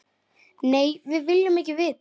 Nei, við viljum ekki vita.